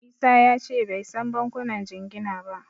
Isa ya ce bai san bankunan jingina ba.